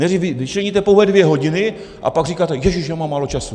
Nejdřív vyčleníte pouhé dvě hodiny, a pak říkáte: Ježiš, já mám málo času.